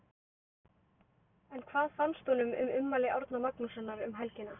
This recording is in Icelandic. En hvað fannst honum um ummæli Árna Magnússon um helgina?